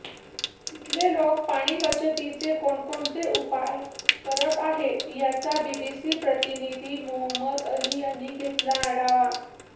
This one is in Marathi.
तिथले लोक पाणीबचतीचे कोणकोणते उपाय करत आहेत याचा बीबीसी प्रतिनिधी मोहम्मद अली यांनी घेतलेला आढावा